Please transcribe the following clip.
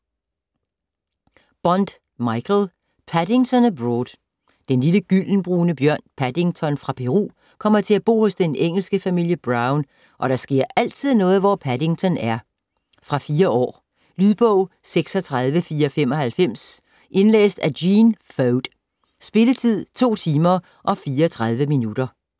Bond, Michael: Paddington abroad Den lille gyldenbrune bjørn Paddington fra Peru kommer til at bo hos den engelske familie Brown, og der sker altid noget, hvor Paddington er. Fra 4 år. Lydbog 36495 Indlæst af Gene Foad. Spilletid: 2 timer, 34 minutter.